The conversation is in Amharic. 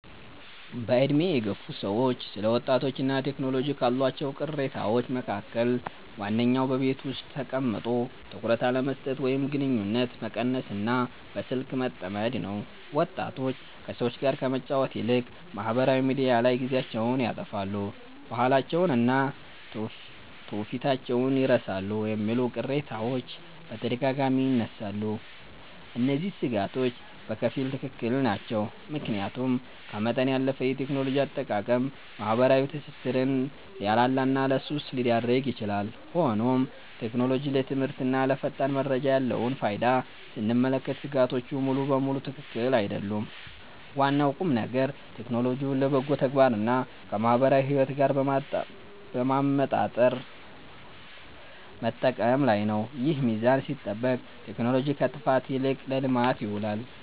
በዕድሜ የገፉ ሰዎች ስለ ወጣቶችና ቴክኖሎጂ ካሏቸው ቅሬታዎች መካከል ዋነኛው በቤት ውስጥ ተቀምጦ ትኩረት አለመስጠት ወይም ግንኙነት መቀነስና በስልክ መጠመድ ነው። ወጣቶች ከሰዎች ጋር ከመጫወት ይልቅ ማኅበራዊ ሚዲያ ላይ ጊዜያቸውን ያጠፋሉ፣ ባህላቸውንና ትውፊታቸውን ይረሳሉ የሚሉ ቅሬታዎች በተደጋጋሚ ይነሳሉ። እነዚህ ሥጋቶች በከፊል ትክክል ናቸው፤ ምክንያቱም ከመጠን ያለፈ የቴክኖሎጂ አጠቃቀም ማኅበራዊ ትስስርን ሊያላላና ለሱስ ሊዳርግ ይችላል። ሆኖም ቴክኖሎጂ ለትምህርትና ለፈጣን መረጃ ያለውን ፋይዳ ስንመለከት ሥጋቶቹ ሙሉ በሙሉ ትክክል አይደሉም። ዋናው ቁምነገር ቴክኖሎጂውን ለበጎ ተግባርና ከማኅበራዊ ሕይወት ጋር በማመጣጠር መጠቀም ላይ ነው። ይህ ሚዛን ሲጠበቅ ቴክኖሎጂ ከጥፋት ይልቅ ለልማት ይውላል።